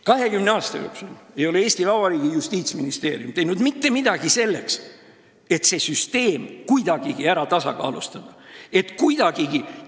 20 aasta jooksul ei ole Eesti Vabariigi Justiitsministeerium teinud mitte midagi selleks, et see süsteem kuidagigi tasakaalu viia – kuidagigi!